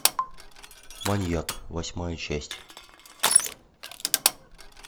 маньяк восьмая часть